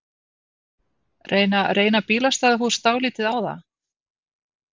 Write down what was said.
Reyna, reyna bílastæðahús dálítið á það?